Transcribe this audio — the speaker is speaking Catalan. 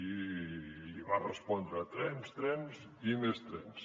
i li va respondre trens trens i més trens